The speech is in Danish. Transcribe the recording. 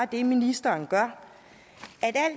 det ministeren gør